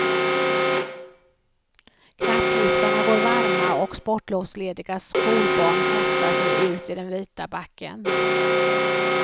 Knappliftarna går varma och sportlovslediga skolbarn kastar sig ut i den vita backen.